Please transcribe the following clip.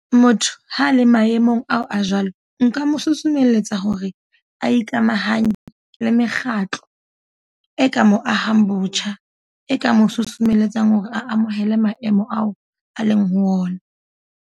Motho ha a le maemong ao a jwalo. Nka mo susumelletsa hore a ikamahanye le mekgatlo e ka mo ahang botjha. E ka mo susumelletsang hore a amohele maemo ao a leng ho ona.